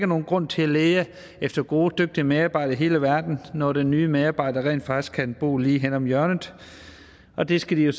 nogen grund til at lede efter gode og dygtige medarbejdere i hele verden når den nye medarbejder rent faktisk kan bo lige henne om hjørnet og det skal de jo